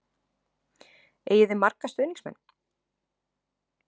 Eigið þið marga stuðningsmenn?